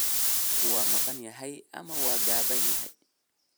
Roobku waa maqan yahay ama waa gaaban yahay.